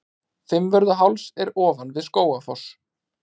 Fimmvörðuháls er ofan við Skógafoss.